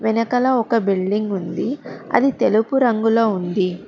వెనకాల ఒక బిల్డింగ్ ఉంది అది తెలుపు రంగులో ఉంది